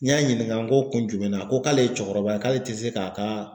N y'a ɲininka n ko kun jumɛn na ko k'ale ye cɛkɔrɔba ye k'ale tɛ se k'a ka